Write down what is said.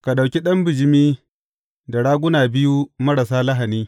Ka ɗauki ɗan bijimi da raguna biyu marasa lahani.